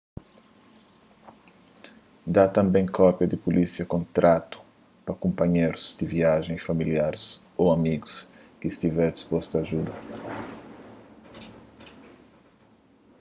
da tanbê kópia di pulísia/kontratu pa kunpanherus di viajen y familiaris ô amigus ki stiver dispostu a djuda